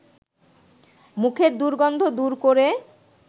মুখের দুর্গন্ধ দূর করে